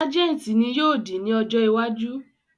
Sajenti ni yóò di ni ọ̀jọ iwájú